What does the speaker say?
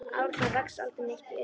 Árna vex aldrei neitt í augum.